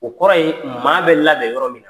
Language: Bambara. O kɔrɔ ye maa bɛ labɛn yɔrɔ min.